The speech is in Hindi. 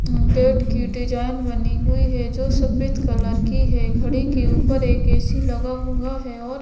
गेट की डिजाइन बनी हुई है जो सफेद कलर की है घड़ी के ऊपर एक ए _सी लगा हुआ है और --